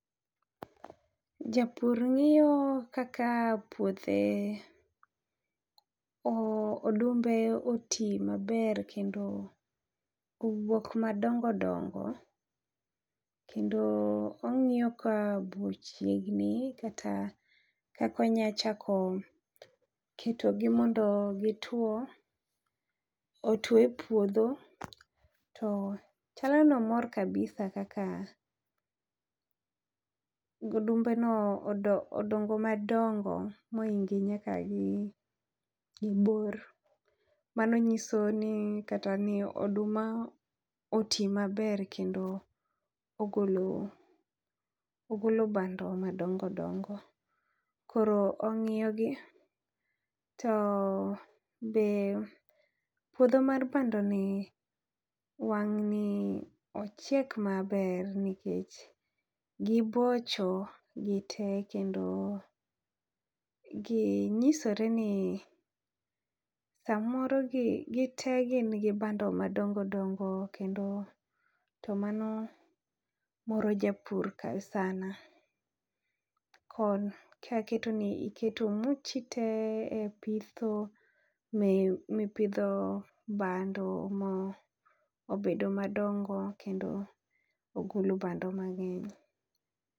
Japur ng'iyo kaka puothe o odumbe oti maber kendo owuok madongodongo. Kendo ong'iyo ka bu chiegni kata kakonya chako keto gi mondo gituo otwo e puodho to chalo nomor kabisa kaka odumbe no odo odongo madongo moinge nyaka gi bor. Mano nyiso ni kata ni oduma oti maber kendo ogolo ogolo bando madongodongo . Koro ong'iyo gi to be puodho mar bando ni wang' ni ochiek maber nikech gibocho gitee kendo gi nyisore ni samoro gi gite gin gi bando madongodongo kendo to mano moro japur ka sana. Kod kaki keto ni keto muchi te e pitho mi mipidho bando ma obedo madongo kendo ogolo bando mang'eny.